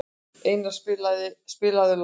Einara, spilaðu lag.